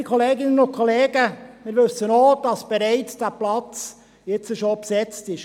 Geschätzte Kolleginnen und Kollegen, wir wissen auch, dass dieser Platz bereits jetzt schon besetzt ist.